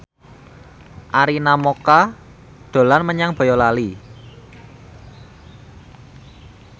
Arina Mocca dolan menyang Boyolali